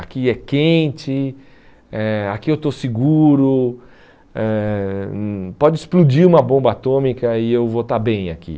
aqui é quente, eh aqui eu estou seguro, eh hum pode explodir uma bomba atômica e eu vou estar bem aqui.